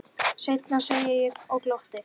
Seinna, segi ég og glotti.